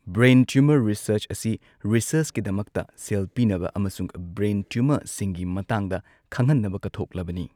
Brain tumour research ꯑꯁꯤ ꯔꯤꯁꯔꯆꯀꯤꯗꯃꯛꯇ ꯁꯦꯜ ꯄꯤꯅꯕ, ꯑꯃꯁꯨꯡ ꯕ꯭ꯔꯦꯟ ꯇ꯭ꯌꯨꯃꯔꯁꯤꯡꯒꯤ ꯃꯇꯥꯡꯗ ꯈꯪꯍꯟꯅꯕ ꯀꯠꯊꯣꯛꯂꯕꯅꯤ꯫